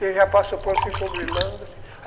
Ele já passou por, ficou grilando.